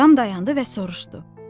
Adam dayandı və soruşdu: